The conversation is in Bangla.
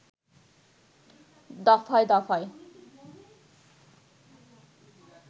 দফায় দফায়